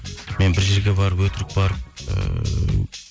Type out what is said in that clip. мен бір жерге барып өтірік барып ыыы